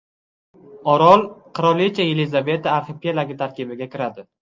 Orol Qirolicha Yelizaveta arxipelagi tarkibiga kiradi.